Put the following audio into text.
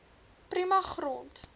prima grond